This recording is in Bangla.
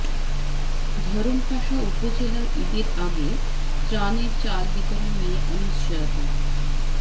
ধরমপাশা উপজেলা ঈদের আগে ত্রাণের চাল বিতরণ নিয়ে অনিশ্চয়তা